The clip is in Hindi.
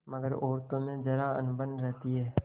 मगर औरतों में जरा अनबन रहती है